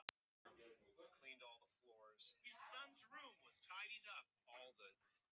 Verst var að þeir skyldu sjá hann gráta.